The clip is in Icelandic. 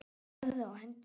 Horfði á hendur mínar.